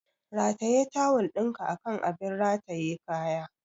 Rataye tawul ɗinka akan abin rataye kaya!